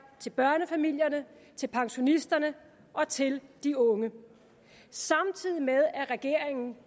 til børnefamilierne til pensionisterne og til de unge samtidig med at regeringen